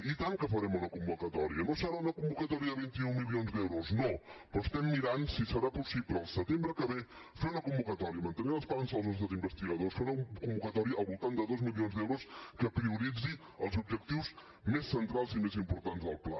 i tant que farem una convocatòria no serà una convocatòria de vint un milions d’euros no però mirem si serà possible al setembre que ve fer una convocatòria mantenir l’esperança dels nostres investigadors fer una convocatòria al voltant de dos milions d’euros que prioritzi els objectius més centrals i més importants del pla